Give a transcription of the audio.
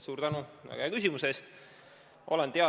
Suur tänu väga hea küsimuse eest!